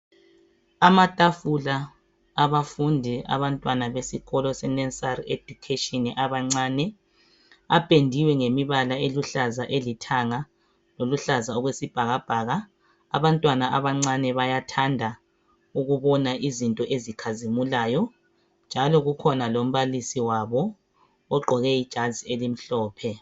Amatafula abafundi abantwana besikolo se nursery education abancane apendiwe ngemibala eluhlaza lelithanga loluhlaza okwesibhakabhaka. Abantwana abancane bayathanda ukubona izinto ezikhazimulayo njalo kukhona lombalisi wabo ogqoke ijazi elimhlophe